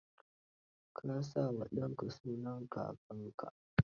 Ka sa wa danka sunan kakanka.